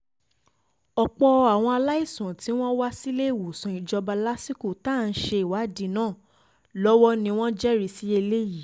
ọ̀pọ̀ àwọn aláìsàn tí wọ́n wá um síléèwọ̀sán ìjọba lásìkò tá à ń ṣèwádìí náà lọ́wọ́ ni wọ́n jẹ́rìí sí eléyìí um